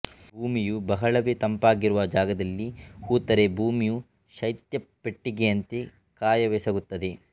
ಭೂಮಿಯು ಬಹಳವೇ ತಂಪಾಗಿರುವ ಜಾಗದಲ್ಲಿ ಹೂತರೆ ಭೂಮಿಯು ಶೈತ್ಯಪೆಟ್ಟಿಗೆಯಂತೆ ಕಾರ್ಯವೆಸಗುತ್ತದೆ